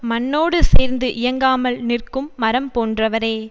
மண்ணோடு சேர்ந்து இயங்காமல் நிற்கும் மரம் போன்றவரே